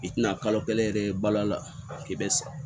I tɛna kalo kelen yɛrɛ balo la k'i bɛ sa